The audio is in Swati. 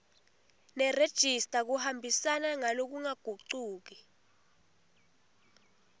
nerejista kuhambisana ngalokungagucuki